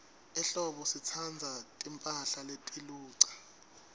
ehlobo sitsandza timphahla letiluca